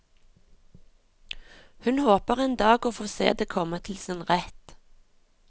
Hun håper en dag å få se det komme til sin rett.